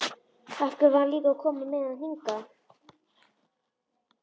Af hverju var hún líka að koma með hann hingað?